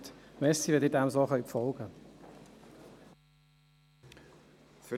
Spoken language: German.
Danke, wenn Sie dem so folgen können.